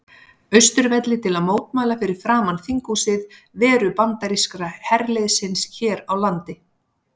Austurvelli til að mótmæla fyrir framan þinghúsið veru bandaríska herliðsins hér á landi.